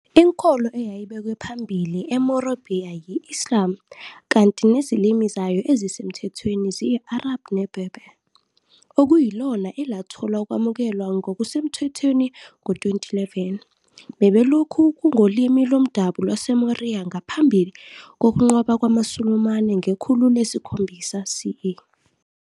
Inkolo eyayibekwe phambili eMorobhiya yi-Islam, kanti nezilimi zayo ezisemthethweni ziyi-Arabhu neBerber, okuyilona elathola ukwamukelwa ngokusemthethweni ngo-2011, bebelokhu kungolimi lomdabu lwaseMoriya ngaphambi kokunqoba kwamaSulumane ngekhulu lesikhombisa C. E.